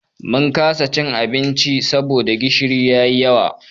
Mun kasa cin abincin saboda gishiri ya yi yawa.